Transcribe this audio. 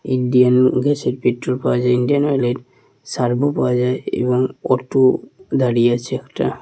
Indian gas এর petrol পাওয়া যায় ইন্ডিয়ান অয়েল এর সারবো পাওয়া যায় এবং অটো দাঁড়িয়ে আছে একটা।